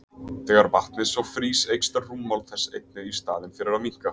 Þegar vatnið svo frýs eykst rúmmál þess einnig í staðinn fyrir að minnka!